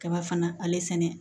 Kaba fana ale sɛnɛ